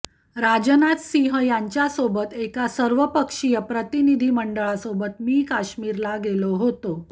राजनाथ सिंह यांच्यासोबत एका सर्वपक्षीय प्रतिनिधी मंडळासोबत मी काश्मिरला गेलो होतो